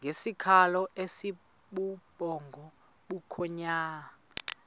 ngesikhalo esibubhonga bukhonya